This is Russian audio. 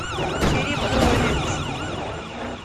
череповец